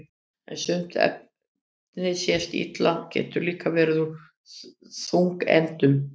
en sumt efni sem sést illa getur líka verið úr þungeindum